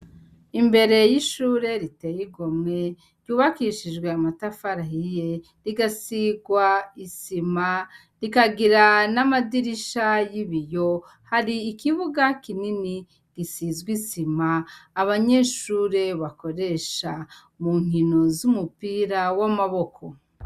Imbere yishure riteye igomwe ryubakishije amatafari ahiye rigasigishwa isima ikagira namadirisha yibiyo hari ikibuga kinini gisize isima abanyeshure bakoresha munkino z'amaboko.